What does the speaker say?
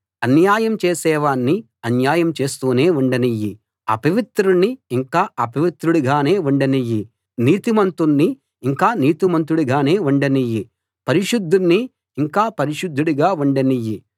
అన్యాయం చేసేవాణ్ణి అన్యాయం చేస్తూనే ఉండనియ్యి అపవిత్రుణ్ణి ఇంకా అపవిత్రుడిగానే ఉండనియ్యి నీతిమంతుణ్ణి ఇంకా నీతిమంతుడిగానే ఉండనియ్యి పరిశుద్ధుణ్ణి ఇంకా పరిశుద్ధుడిగా ఉండనియ్యి